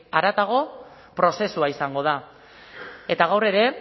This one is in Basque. haratago prozesua izango da eta gaur ere